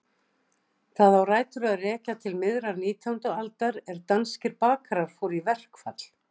Það á rætur að rekja til miðrar nítjándu aldar er danskir bakarar fóru í verkfall.